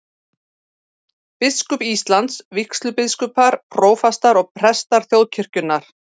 Biskup Íslands, vígslubiskupar, prófastar og prestar þjóðkirkjunnar.